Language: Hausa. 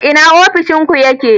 Ina ofishin ku yake?